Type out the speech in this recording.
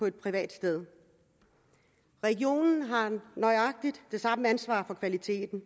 et privat sted regionerne har nøjagtig det samme ansvar for kvaliteten